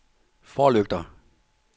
forlygter